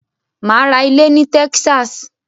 Mà á ra ilé in Texas.